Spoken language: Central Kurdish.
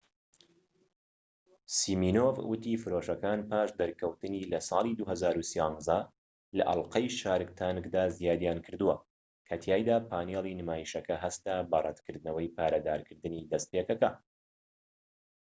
سیمینۆف وتی فرۆشەکان پاش دەرکەوتنی لە ساڵی 2013 لە ئەڵقەی شارک تانکدا زیادیان کردووە کە تیایدا پانێڵی نمایشەکە هەستا بە ڕەتکردنەوەی پارەدارکردنی دەستپێکەکە